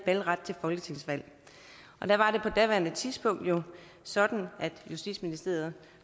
valgret til folketingsvalg der var det på daværende tidspunkt sådan at justitsministeriet